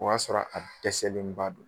O y'a sɔrɔ a dɛsɛlenba don.